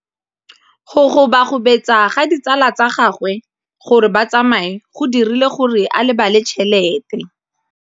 Go gobagobetsa ga ditsala tsa gagwe, gore ba tsamaye go dirile gore a lebale tšhelete.